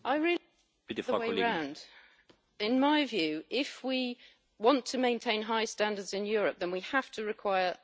In my view, if we want to maintain high standards in Europe, then we have to require other countries to keep those standards as well.